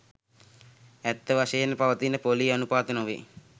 ඇත්ත වශයෙන්ම පවතින පොලී අනුපාත නොවේ